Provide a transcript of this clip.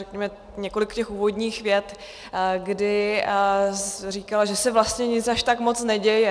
řekněme několik těch úvodních vět, kdy říkala, že se vlastně nic až tak moc neděje.